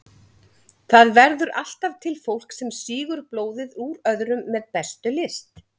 Það verður alltaf til fólk sem sýgur blóðið úr öðrum með bestu lyst.